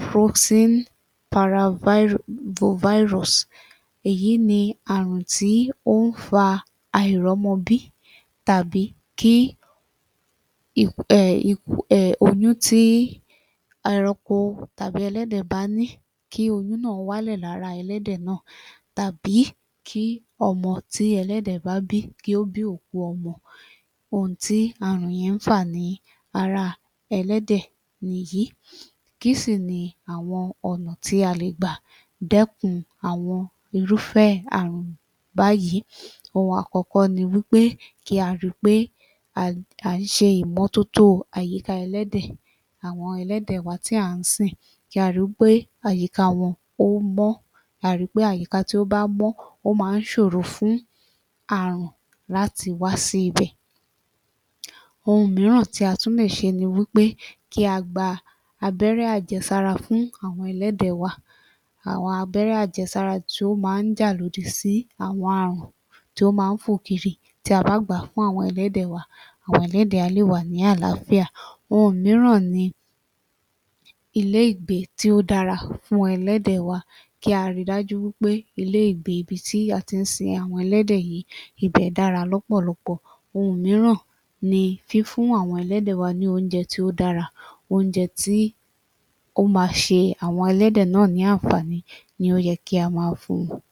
proxineparavirus, èyí ni àrùn tí ó ń fa àìrọ́mọbí àbí kí um oyún tí ẹranko tàbí ẹlẹ́dẹ̀ bá ní kí oyún náà wálẹ̀ lára ẹlẹ́dẹ̀ náà tàbí kí ọmọ tí ẹlẹ́dẹ̀ bá bí kí ó bí òkú ọmọ. Ohun tí àrùn yẹn ń fà ní ara ẹlẹ́dẹ̀ nìyí. Kí sì ni àwọn ọ̀nà tí a lè gbà dẹ́kun àwọn irúfẹ́ àrùn báyìí? Ohun àkọ́kọ́ ni wí pé kí a rí i pé à ń ṣe ìmọ́tótó àyíká ẹlẹ́dẹ̀ àwọn ẹlẹ́dẹ̀ wa tí à ń sìn, kí á rí i pé àyíká wọn ó mọ́, ká a rí i pé àyíká tí ó bá mọ́ ó má ń ṣòro fún àrùn láti wá sí ibẹ̀. Ohun míràn tí a tún lè ṣe ni wí pé kí a gba abẹ́rẹ́ àjẹsára fún àwọn ẹlẹ́dẹ̀ wa, àwọn abẹ́rẹ́ àjẹsára tí ó má ń jà lòdì sí àwọn àrùn tí ó má ń fò kiri. Tí a bá gbà á fún àwọn ẹlẹ́dẹ̀ wa, àwọn ẹlẹ́dẹ̀ á lè wà ní àlááfíà. Ohun míràn ni ilé ìgbé tí ó dára fún ẹlẹ́dẹ̀ wa, kí a rí i dájú pé ilé ìgbé ibi tí a ti ń sin àwọn ẹlẹ́dẹ̀ yìí ibẹ̀ dára l’ọ́pọ̀lọpọ̀. Ohun míràn ni fífún àwọn ẹlẹ́dẹ̀ wa ní óúnjẹ tí ó dára; óúnjẹ tí ó máa ṣe àwọn ẹlẹ́dẹ̀ náà ní àǹfààní ni ó yẹ kí á máa fún wọn.